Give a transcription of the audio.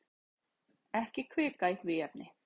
Ekki hvika í því efni.